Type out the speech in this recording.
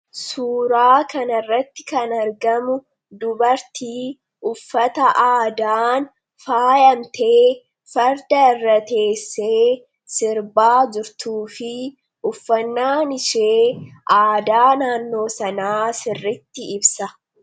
Suuraa kana irratti kan argamu dubartii uffata aadaan faayamtee farda irra teessee sirbaa jurtuu fi uffannaan ishee aadaa naannoo sanaa sirriitti ibsa.